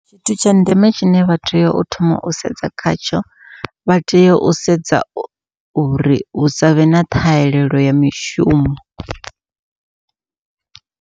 Tshithu tsha ndeme tshine vha tea u thoma u sedza khatsho vha tea u sedza uri hu savhe na ṱhahelelo ya mishumo.